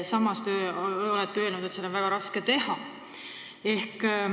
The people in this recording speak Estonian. Samas olete öelnud, et seda on väga raske teha.